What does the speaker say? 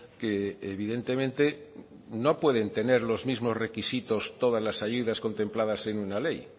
que evidentemente no pueden tener los mismos requisitos todas las ayudas contempladas en una ley